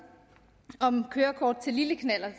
om kørekort til lille knallert